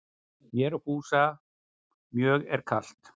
Mér og Fúsa mjög er kalt